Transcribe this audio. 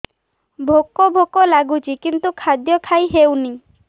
ଭୋକ ଭୋକ ଲାଗୁଛି କିନ୍ତୁ ଖାଦ୍ୟ ଖାଇ ହେଉନି